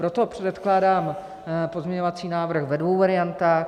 Proto předkládám pozměňovací návrh ve dvou variantách.